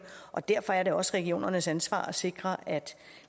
og derfor er det også regionernes ansvar at sikre at